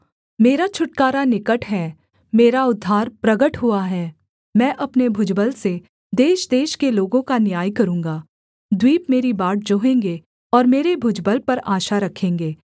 मेरा छुटकारा निकट है मेरा उद्धार प्रगट हुआ है मैं अपने भुजबल से देशदेश के लोगों का न्याय करूँगा द्वीप मेरी बाट जोहेंगे और मेरे भुजबल पर आशा रखेंगे